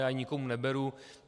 Já ji nikomu neberu.